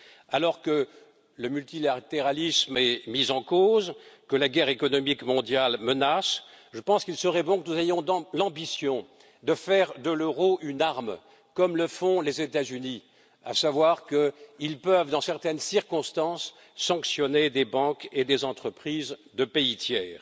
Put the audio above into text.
Alors que le multilatéralisme est mis en cause, que la guerre économique mondiale menace, je pense qu'il serait bon que nous ayons l'ambition de faire de l'euro une arme, comme le font les États Unis, à savoir qu'ils peuvent, dans certaines circonstances, sanctionner des banques et des entreprises de pays tiers.